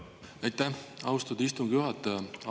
Aitäh, austatud istungi juhataja!